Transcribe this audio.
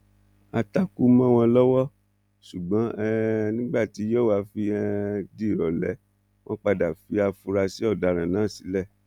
á takú mọ wọn lọwọ ṣùgbọn um nígbà tí yòówó fi um di ìrọlẹ wọn padà fi àfúrásì ọdaràn náà sílẹ